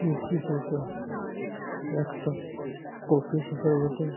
এই চিত্রটা একটা কফি শপ -এর বটে।